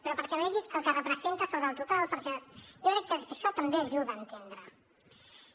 però perquè vegi el que representa sobre el total perquè jo crec que això també ajuda a entendre ho